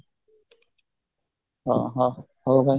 ଅହଃ ହଁ ହଉ ଭାଇ